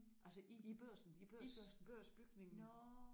Altså i Børsen i Børsen Børsbygningen